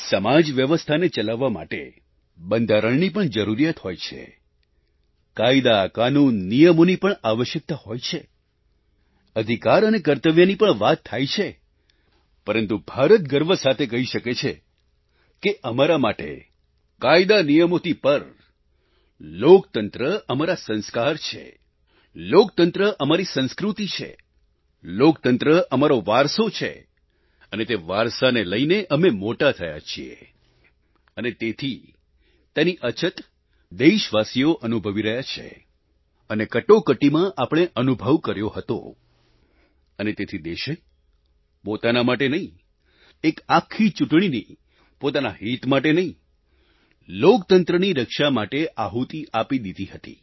સમાજ વ્યવસ્થાને ચલાવવા માટે બંધારણની પણ જરૂરિયાત હોય છે કાયદાકાનૂન નિયમોની પણ આવશ્યકતા હોય છે અધિકાર અને કર્તવ્યની પણ વાત થાય છે પરંતુ ભારત ગર્વ સાથે કહી શકે છે કે અમારા માટે કાયદા નિયમોથી પર લોકતંત્ર અમારા સંસ્કાર છે લોકતંત્ર અમારી સંસ્કૃતિ છે લોકતંત્ર અમારો વારસો છે અને તે વારસાને લઈને અમે મોટા થયા છીએ અને તેથી તેની અછત દેશવાસીઓ અનુભવી રહ્યા છે અને કટોકટીમાં આપણે અનુભવ કર્યો હતો અને તેથી દેશે પોતાના માટે નહીં એક આખી ચૂંટણીની પોતાના હિત માટે નહીં લોકતંત્રની રક્ષા માટે આહૂતિ આપી દીધી હતી